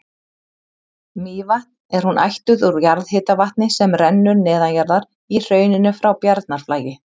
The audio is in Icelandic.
Mývatn er hún ættuð úr jarðhitavatni sem rennur neðanjarðar í hrauninu frá Bjarnarflagi.